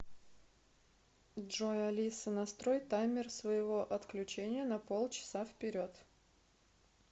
джой алиса настрой таймер своего отключения на пол часа вперед